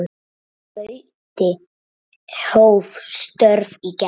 Gauti hóf störf í gær.